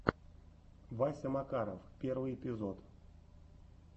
вася макаров первый эпизод